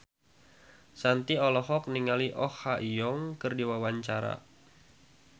Shanti olohok ningali Oh Ha Young keur diwawancara